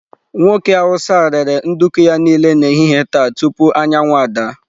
Nwoke Hausa a rere nduku ya niile n'ehihie taa tupu anyanwụ ada.